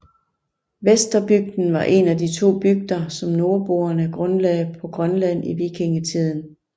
Vesterbygden var en af de to bygder som nordboerne grundlagde på Grønland i vikingetiden